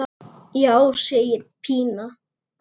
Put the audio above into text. Já, segir Pína.